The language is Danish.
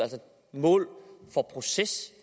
mål for processen